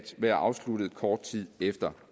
være afsluttet kort tid efter